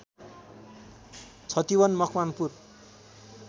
Chhatiwan Makwanpur